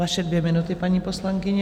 Vaše dvě minuty, paní poslankyně.